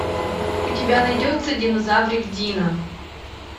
у тебя найдется динозаврик дино